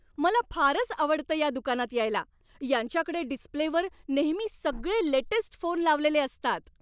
मला फारच आवडतं या दुकानात यायला. यांच्याकडे डिस्प्लेवर नेहमी सगळे लेटेस्ट फोन लावलेले असतात.